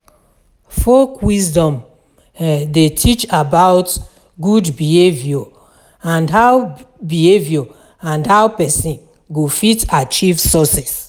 Folk wisdom um de teach about good behavior and how behavior and how persin go fit achieve success